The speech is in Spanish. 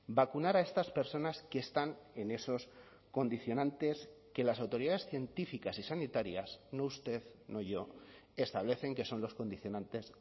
vacunar a estas personas que están en esos condicionantes que las autoridades científicas y sanitarias no usted no yo establecen que son los condicionantes